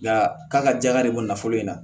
Nka k'a ka jaɲa de bɔ nafolo in na